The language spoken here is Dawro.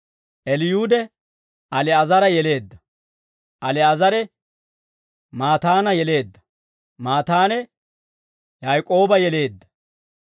Eliyuude, Ali'aazara yeleedda; Ali'aazare, Maataana yeleedda; Maataane, Yaak'ooba yeleedda.